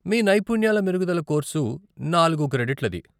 మీ నైపుణ్యాల మెరుగుదల కోర్సు నాలుగు క్రెడిట్లది.